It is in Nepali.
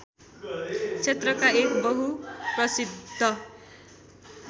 क्षेत्रका एक बहुप्रशिद्ध